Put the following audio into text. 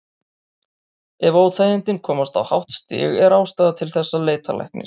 Ef óþægindin komast á hátt stig er ástæða til þess að leita læknis.